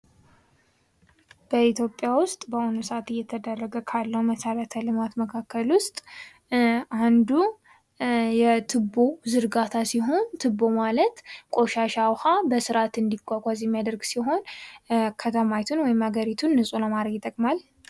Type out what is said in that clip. በኢትዮጵያ ውስጥ በአሁኑ ሰዓት እየተደረገ ካለው መሰረተ ልማት መካከል ውስጥ አንዱ የቱቦ ዝርጋታ ሲሆን ቱቦ ማለት ቆሻሻ ውሃ በስርዓት እንዲጓጓዝ የሚያደርግ ሲሆን ከተማይቱን ወይም ሀገሪቱን ለማድረግ ይጠቅማል።